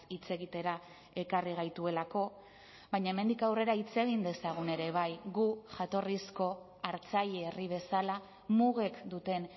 hitz egitera ekarri gaituelako baina hemendik aurrera hitz egin dezagun ere bai gu jatorrizko hartzaile herri bezala mugek duten